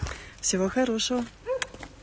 всего хорошего